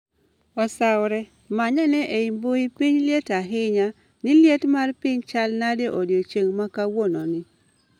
osaore manyane ei mbui piny liet ahinya ni liet mar piny chal nade odiechieng makawuononi